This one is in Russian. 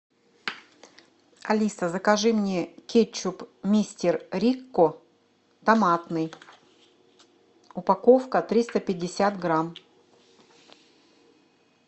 алиса закажи мне кетчуп мистер рикко томатный упаковка триста пятьдесят грамм